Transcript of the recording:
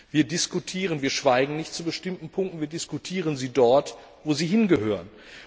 Wir schweigen nicht zu bestimmten Punkten, wir diskutieren sie dort, wo sie hingehören.